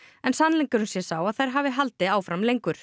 en sannleikurinn sé sá að þær hafi haldið áfram lengur